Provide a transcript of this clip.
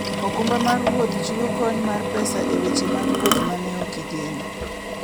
okumba mar wuoth chiwo kony mar pesa e weche mag wuoth ma ne ok igeno.